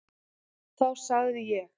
Þá segði ég: